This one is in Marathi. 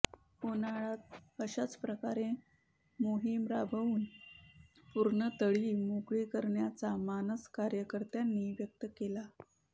उन्हाळय़ात अशाच प्रकारे मोहीम राबवून पूर्ण तळी मोकळी करण्याचा मानस कार्यकर्त्यांनी व्यक्त केला